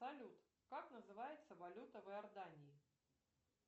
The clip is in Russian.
салют как называется валюта в иордании